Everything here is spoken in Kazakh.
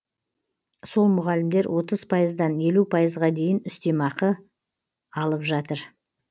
сол мұғалімдер отыз пайыздан елу пайызға дейін үстеме ақы алып жатыр